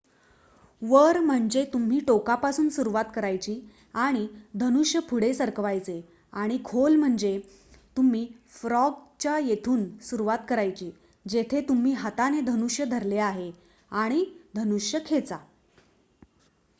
वर म्हणजे तुम्ही टोकापासून सुरुवात करायची आणि धनुष्य पुढे सरकवायचे आणि खाली म्हणजे तुम्ही फ्रॉग च्या येथून सुरुवात करायची जेथे तुम्ही हाताने धनुष्य धरले आहे आणि धनुष्य खेचा